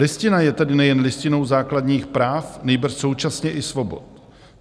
Listina je tedy nejen listinou základních práv, nýbrž současně i svobod.